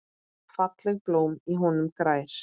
Fallegt blóm í honum grær.